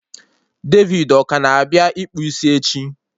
David ọ ka na-abịa ịkpụ isi echi?